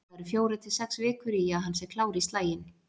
Það eru fjórar til sex vikur í að hann sé klár í slaginn.